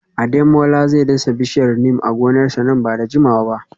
Ademola zai dasa bishiyar Neem a gonarsa nan ba da jimawa ba